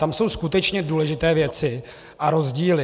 Tam jsou skutečně důležité věci a rozdíly.